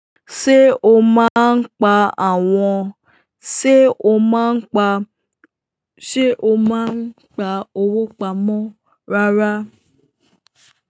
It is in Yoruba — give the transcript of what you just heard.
Ṣé o máa ń pa àwọn, ṣe o máa ń pa, ṣe o máa ń pa owó pamọ́ rárá?